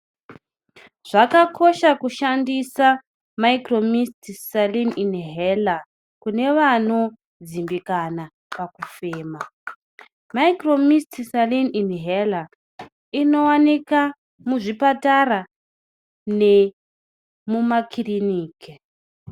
Zvakakosha kushandisa mitombo unobatsira pakufema kune vanopandiwa pakufema, mushonga uyu unowanika muzvipatara nemumakiriniki.